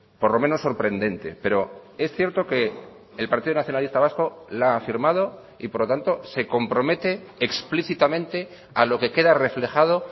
por lo menos sorprendente pero es cierto que el partido nacionalista vasco la ha firmado y por lo tanto se compromete explícitamente a lo que queda reflejado